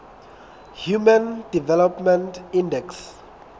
human development index